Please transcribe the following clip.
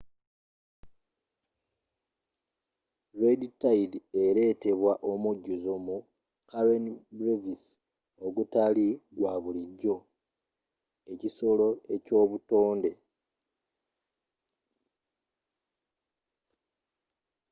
red tide eretebwa omujjuzo mu karen brevis ogutali gwa bulijjo ekisolo eky'obutonde